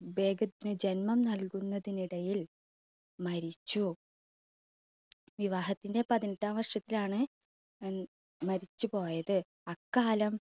ബേഗത്തിന് ജന്മം നൽകുന്നതിനിടയിൽ മരിച്ചു. വിവാഹത്തിൻറെ പതിനെട്ടാം വർഷത്തിലാണ് മരിച്ചു പോയത് അക്കാലം